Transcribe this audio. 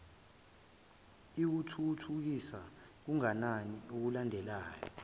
ikuthuthukisa kanganani okulandelayo